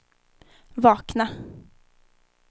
vakna